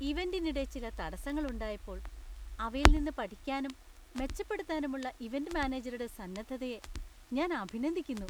ഇവന്‍റിനിടെ ചില തടസ്സങ്ങൾ ഉണ്ടായപ്പോൾ, അവയിൽ നിന്ന് പഠിക്കാനും ,മെച്ചപ്പെടുത്താനുമുള്ള ഇവന്റ് മാനേജരുടെ സന്നദ്ധതയെ ഞാൻ അഭിനന്ദിക്കുന്നു.